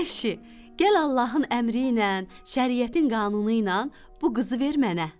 Əşi, gəl Allahın əmri ilə, şəriətin qanunu ilə bu qızı ver mənə.